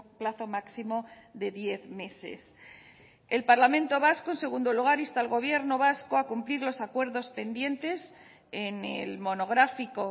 plazo máximo de diez meses el parlamento vasco en segundo lugar insta al gobierno vasco a cumplir los acuerdos pendientes en el monográfico